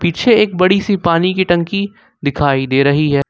पीछे एक बड़ी सी पानी की टंकी दिखाई दे रही है।